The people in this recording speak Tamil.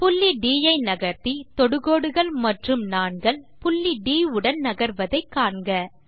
புள்ளி ட் ஐ நகர்த்தி தொடுகோடுகள் மற்றும் நாண்கள் புள்ளி ட் உடன் நகர்வதை காண்க